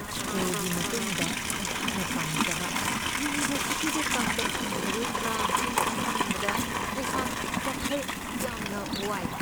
ꯁ꯭ꯀꯨꯜꯒꯤ ꯃꯇꯨꯡꯗ ꯑꯩꯍꯥꯛꯅ ꯄꯥꯝꯖꯕ ꯌꯨꯅꯤꯕꯔꯁꯤꯇꯤꯗ ꯇꯝꯕ ꯐꯪꯂꯔꯣꯏꯗ꯭ꯔꯥ ꯍꯥꯏꯅ ꯈꯟꯕꯗ ꯑꯩꯍꯥꯛ ꯋꯥꯈꯜ ꯌꯥꯝꯅ ꯋꯥꯏ ꯫